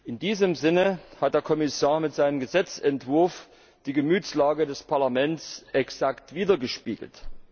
In diesem Sinne hat der Kommissar mit seinem Gesetzentwurf die Gemütslage des Parlaments exakt widergespiegelt.